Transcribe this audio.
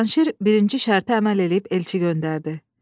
Cavanşir birinci şərtə əməl eləyib elçi göndərdi.